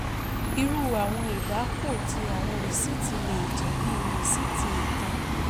Irú àẉọn ìdàako ti àẉọn rìsítì le jẹ́ bi Rìsítì Ìta